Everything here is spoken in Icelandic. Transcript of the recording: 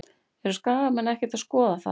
Eru Skagamenn ekkert að skoða þar?